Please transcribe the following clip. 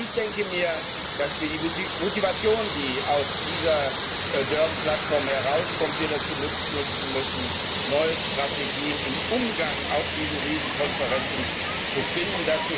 Ich denke mir, dass wir die Motivation, die aus dieser Durban Platform herauskommt, dazu nutzen müssen, neue Strategien im Umgang auf diesen Riesenkonferenzen zu finden.